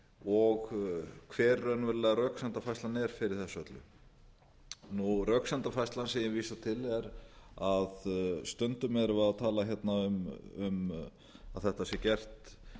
og hver raunverulega röksemdafærslan er fyrir þessu öllu röksemdafærslan sem ég vísa til er að stundum erum við að tala hérna um að þetta sé gert